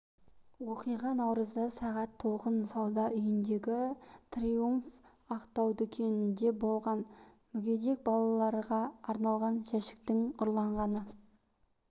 оқиға наурызда сағат толқын сауда үйіндегі триумф актау дүкенінде болған мүгедек балаларға арналған жәшіктің ұрланғаны